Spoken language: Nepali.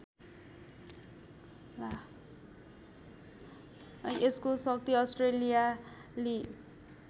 यसको शक्ति अस्ट्रेलियाली